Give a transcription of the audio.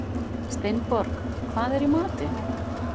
Steinborg, hvað er í matinn?